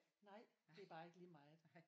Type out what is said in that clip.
Nej det er bare ikke lige meget